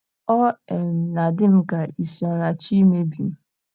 Ọ um na - adị m ka isi ọ̀ na - achọ imebi m.